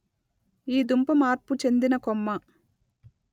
ఈ దుంప మార్పు చెందిన కొమ్మ